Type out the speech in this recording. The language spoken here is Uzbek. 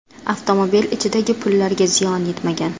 Avtomobil ichidagi pullarga ziyon yetmagan.